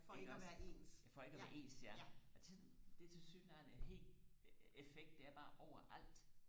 iggås for ikke og være ens ja og det det er tilsyneladende helt effekt det er bare over alt